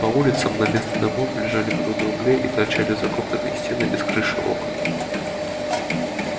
по улицам на место домов лежали груды углей и торчали закопанные стены без крыш и окон